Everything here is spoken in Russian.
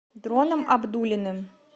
дроном абдуллиным